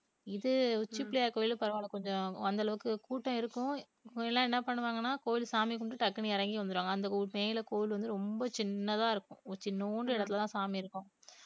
இது உச்சி பிள்ளையார் கோவிலுக்கு பரவாயில்லை கொஞ்சம் அந்த அளவுக்கு கூட்டம் இருக்கும் முன்ன எல்லாம் என்ன பண்ணுவாங்கன்னா கோவில் சாமி கும்பிட்டு டக்குனு இறங்கி வந்துருவாங்க அந்த மேல கோவில் வந்து ரொம்ப சின்னதா இருக்கும் ஒரு சின்னூண்டு இடத்துலதான் சாமி இருக்கும்